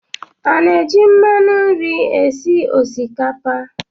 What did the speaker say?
A na-eji mmanụ nri esi osikapa?